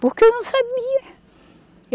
Porque eu não sabia.